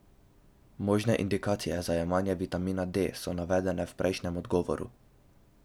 Možne indikacije za jemanje vitamina D so navedene v prejšnjem odgovoru.